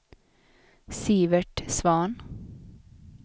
Sivert Svahn